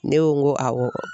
Ne ko n ko awɔ